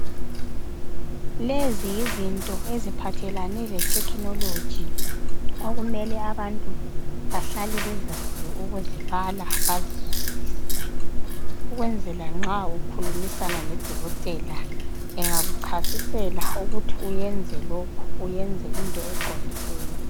Lezi yizinto eziphathelane lethekhinoloji okumele abantu bahlale bezazi ukuzibala bazizwisise ukwenzela nxa ukhulumisana loDokotela engakuchasisela ukuthi uyenze lokhu uyenze into eqondileyo.